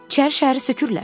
İçərişəhəri sökürlər.